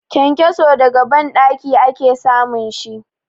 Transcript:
Kenkeso daga banɗaki ake samun shi.